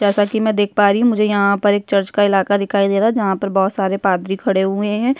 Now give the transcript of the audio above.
जैसा की मै देख पा रही हूँ मुझे यहाँ पर एक चर्च का इलाका दिखाई दे रहा है जहाँ पर बहोत सारे पादरी खड़े हुए है।